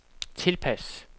tilpas